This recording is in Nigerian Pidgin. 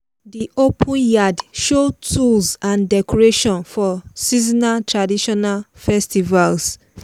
the open yard show tools and decoration for seasonal traditional festivals.